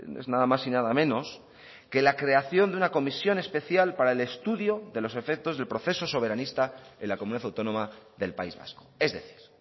es nada más y nada menos que la creación de una comisión especial para el estudio de los efectos del proceso soberanista en la comunidad autónoma del país vasco es decir